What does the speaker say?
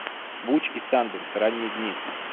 буч и санденс ранние дни